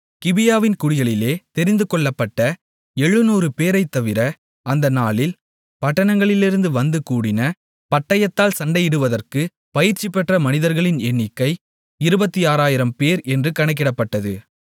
கிபியாவின் குடிகளிலே தெரிந்து கொள்ளப்பட்ட 700 பேரைத் தவிர அந்த நாளில் பட்டணங்களிலிருந்து வந்து கூடின பட்டயத்தால் சண்டையிடுவதற்கு பயிற்சி பெற்ற மனிதர்களின் எண்ணிக்கை 26000 பேர் என்று கணக்கிடப்பட்டது